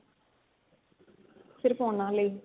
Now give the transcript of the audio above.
ਸਿਰਫ ਉਹਨਾ ਲਈ